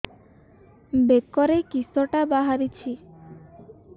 ବେକରେ କିଶଟା ବାହାରିଛି